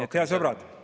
Head sõbrad!